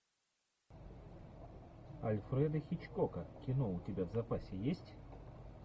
альфреда хичкока кино у тебя в запасе есть